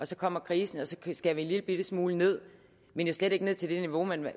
så kommer krisen og så skærer vi en lillebitte smule ned men jo slet ikke ned til det niveau man